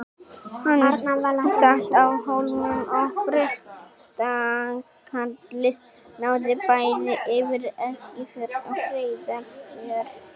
Hann sat á Hólmum og prestakallið náði bæði yfir Eskifjörð og Reyðarfjörð.